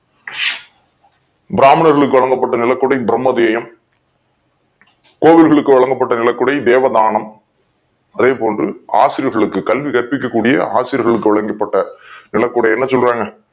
பிராமணர்களுக்கு வழங்கப்பட்ட நிலக்குடை பிரம்மதேயம் கோவில் களுக்கு வழங்கப் பட்ட நிலக்குடை தேவதானம் அதேபோன்று ஆசிரியர்களுக்கு கல்வி கற்பிக்கக் கூடிய ஆசிரியர் களுக்கு வழங்கப் பட்ட நிலக்குடைய என்ன சொல்றாங்க